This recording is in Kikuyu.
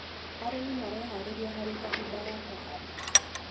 Arĩmi mareharĩria harĩ kahinda ga kũhanda.